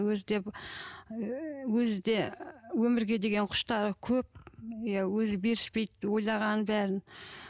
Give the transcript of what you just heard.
өзі де ыыы өзі де өмірге деген құштары көп иә өзі беріспейді ойлағанын бәрін